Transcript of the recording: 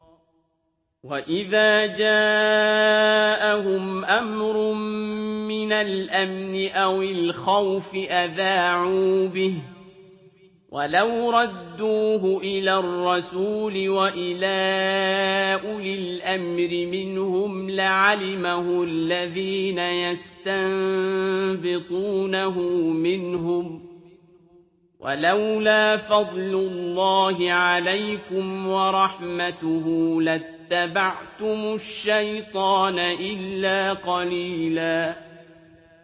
وَإِذَا جَاءَهُمْ أَمْرٌ مِّنَ الْأَمْنِ أَوِ الْخَوْفِ أَذَاعُوا بِهِ ۖ وَلَوْ رَدُّوهُ إِلَى الرَّسُولِ وَإِلَىٰ أُولِي الْأَمْرِ مِنْهُمْ لَعَلِمَهُ الَّذِينَ يَسْتَنبِطُونَهُ مِنْهُمْ ۗ وَلَوْلَا فَضْلُ اللَّهِ عَلَيْكُمْ وَرَحْمَتُهُ لَاتَّبَعْتُمُ الشَّيْطَانَ إِلَّا قَلِيلًا